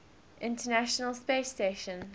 international space station